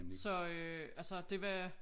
Så øh altså det var